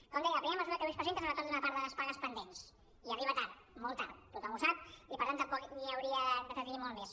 com deia la primera mesura que avui es presenta és el retorn d’una part de les pagues pendents i arriba tard molt tard tothom ho sap i per tant tampoc m’hi hauria d’entretenir molt més